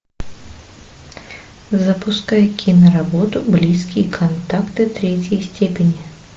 запускай киноработу близкие контакты третьей степени